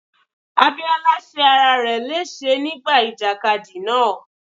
Abíọ́lá ṣe ara rẹ léṣe nígbà ìjàkadì náà.